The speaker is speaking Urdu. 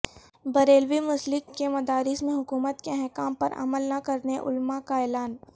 بریلوی مسلک کے مدارس میں حکومت کے احکام پر عمل نہ کرنے علماء کا اعلان